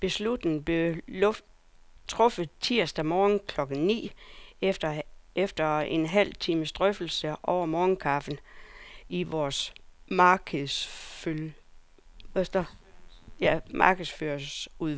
Beslutningen blev truffet tirsdag morgen klokken ni, efter en halv times drøftelse over morgenkaffen i vores markedsføringsudvalg.